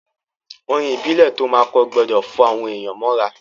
Orin ìbílẹ̀ to máa kọ gbọdọ̀ fá àwọn èyàn mọ́ ra.